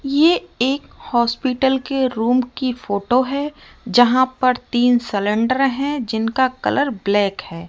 ये एक हॉस्पिटल के रूम की फोटो है जहां पर तीन सिलेंडर है जिनका कलर ब्लैक है।